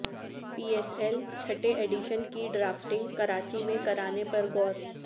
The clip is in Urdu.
پی ایس ایل چھٹے ایڈیشن کی ڈرافٹنگ کراچی میں کرانے پر غور